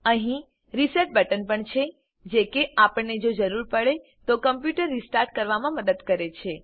અહીં reset button પણ છે જે કે આપણને જો જરૂર પડે તો કમ્પ્યુટર રીસ્ટાર્ટ કરવામાં મદદ કરે છે